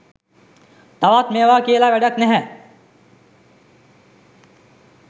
තවත් මේවා කියල වැඩක් නැහැ